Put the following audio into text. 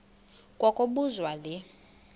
kwa kobuzwa le